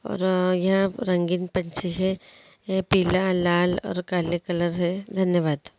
और यहाँ रंगीन पंछी हैं यह पीला लाल और काले कलर हे धन्यवाद।